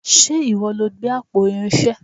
Ṣe ìwọ lo gbé àpò Irinṣé?